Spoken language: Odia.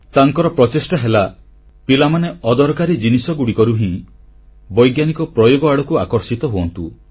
ତାଙ୍କର ପ୍ରଚେଷ୍ଟା ହେଲା ଯେ ପିଲାମାନେ ଅଦରକାରୀ ଜିନିଷଗୁଡ଼ିକରୁ ହିଁ ବୈଜ୍ଞାନିକ ପ୍ରୟୋଗ ଆଡ଼କୁ ଆକର୍ଷିତ ହୁଅନ୍ତୁ